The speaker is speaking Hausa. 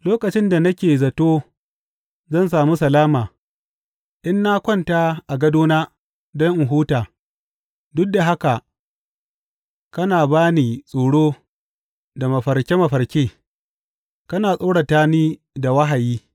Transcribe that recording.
Lokacin da nake zato zan sami salama in na kwanta a gadona don in huta, duk da haka kana ba ni tsoro da mafarke mafarke, kana tsorata ni da wahayi.